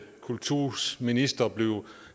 kultusminister blev